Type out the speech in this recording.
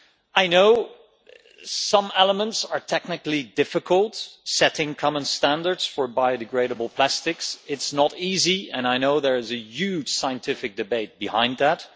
I know some elements are technically difficult setting common standards for biodegradable plastics is not easy, and I know there's a huge scientific debate behind that.